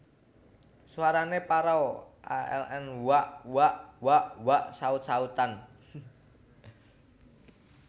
Suarane parau aln wuaak wak wak wak saut sautan